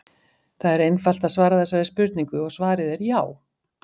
það er einfalt að svara þessari spurningu og svarið er já!